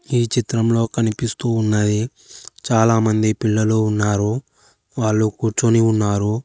ఈ చిత్రంలో కనిపిస్తూ ఉన్నది చాలా మంది పిల్లలు ఉన్నారు వాళ్లు కూర్చొని ఉన్నారు.